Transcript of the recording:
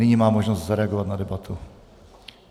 Nyní má možnost zareagovat na debatu.